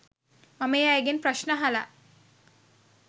මම ඒ අයගෙන් ප්‍රශ්න අහලා